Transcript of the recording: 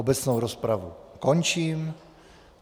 Obecnou rozpravu končím.